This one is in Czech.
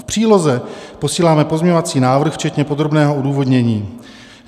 V příloze posíláme pozměňovací návrh včetně podrobného odůvodnění.